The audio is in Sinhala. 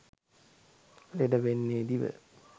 ලෙඩ වෙන්නේ දිව.